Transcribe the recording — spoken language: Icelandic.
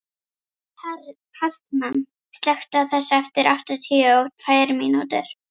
Hartmann, slökktu á þessu eftir áttatíu og tvær mínútur.